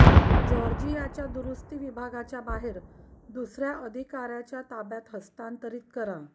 जॉर्जियाच्या दुरूस्ती विभागाच्या बाहेर दुसर्या अधिकाऱ्याच्या ताब्यात हस्तांतरित करा